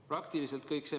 Praktiliselt kõik.